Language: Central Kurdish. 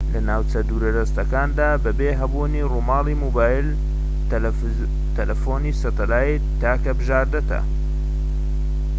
لە ناوچە دوورەدەستەکاندا بەبێ هەبوونی ڕووماڵی مۆبایل تەلەفۆنی سەتەلایت تاکە بژاردەتە